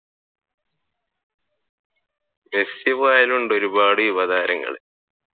Messi പോയാലുമുണ്ട് ഒരുപാട് യുവതാരങ്ങൾ